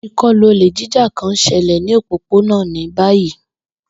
Ikọlu ole jija kan n ṣẹlẹ ni opopona ni bayi.